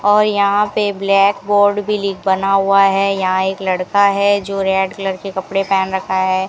और यहां पे ब्लैक बोर्ड भी लि बना हुआ है यहां एक लड़का है जो रेड कलर के कपड़े पहन रखा है।